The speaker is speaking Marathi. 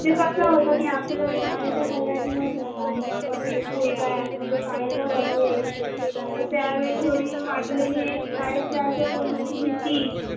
म्हणजे कस होत कि आपल शाळेचा पहिला दिवस होता मग आपण बोलताहेत मग तो शाळेचा गणवेश मग त्या वेळी थोडी वाटलेली शाळेत जायच्या पूर्वीची भीती